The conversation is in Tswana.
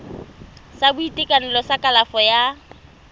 sa boitekanelo sa kalafo ya